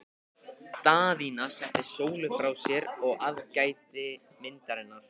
Daðína setti Sólu frá sér og aðgætti myndirnar.